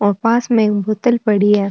और पास में एक बोतल पड़ी है।